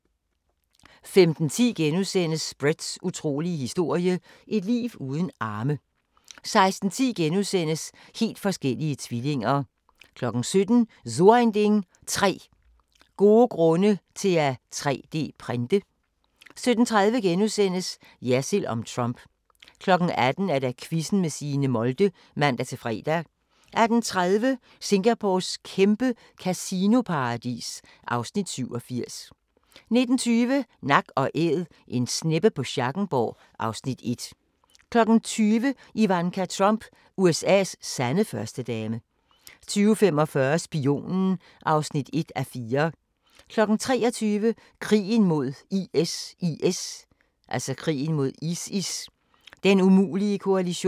15:10: Bretts utrolige historie – et liv uden arme * 16:10: Helt forskellige tvillinger * 17:00: So ein Ding: 3 gode grunde til at 3D-printe 17:30: Jersild om Trump * 18:00: Quizzen med Signe Molde (man-fre) 18:30: Singapores kæmpe kasinoparadis (Afs. 87) 19:20: Nak & Æd - En sneppe på Schackenborg (Afs. 1) 20:00: Ivanka Trump – USA's sande førstedame 20:45: Spionen (1:4) 23:00: Krigen mod ISIS: Den umulige koalition